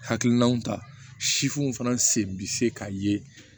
Hakilinaw ta sifuw fana sen bɛ se ka ye